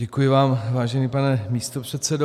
Děkuji vám, vážený pane místopředsedo.